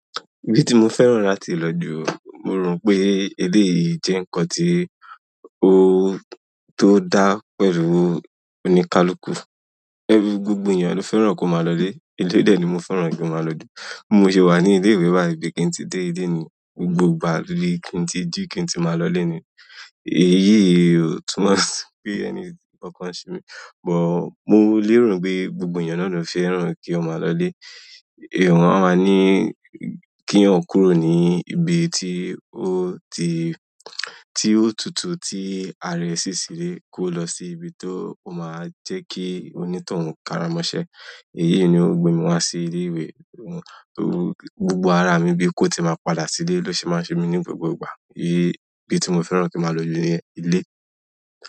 Ibi tí mo fẹ̀ran láti lọ jù, mo rò pé eléyìí jẹ́ nǹkan tí ó tó dá pẹ̀lú oníkálukú. Gbogbo eyan lo fẹ́ràn ko maa lo ile ilé, de ni mo fẹ́ràn kí mo máa lọju. Bi mo ṣe wà ní ilé ìwé báyi bi kí n tí dé ilé ni. Gbogbo ìgbà ni kí n tí jí kí n tí máa lọlé ni. Èyí yìí o túnmọ̀ pé ẹ̀ní kànkan semi, mo lè rò pé gbogbo ènìyàn náà ló fẹ́ràn kí ó máa lọlé. A máa ní kí eyan kúrò ní ibi tí ó ti, tí ó tútú tí ara ẹ sí sílẹ̀ kó lọ sí ibi tó máa jẹ́ kí onítọ̀hún kára mọ́ṣẹ. Èyí ni ó gbé mi wa sí ilé ìwé. Gbogbo ara mi bí kò tí ì máa padà sílé ló ṣe máa ṣe mí ní gbogbo ìgbà. Ibi tí mo fẹ́ràn kí máa lọ jù ni ilé.